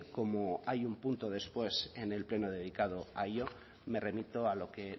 como hay un punto después en el pleno dedicado a ello me remito a lo que